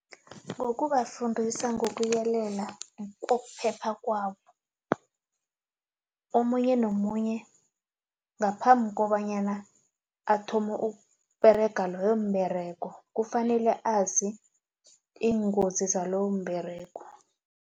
Ngokubafundisa ngokuyelela ukuphepha kwabo omunye nomunye ngaphambi kobanyana athome ukuberega loyo mberego kufanele azi iingozi zalowomberego.